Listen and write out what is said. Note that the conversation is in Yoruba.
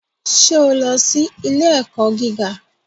Ṣé o lọ sí ilé-ẹ̀kọ́ gíga?